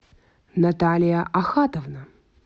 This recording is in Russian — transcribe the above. наталья ахатовна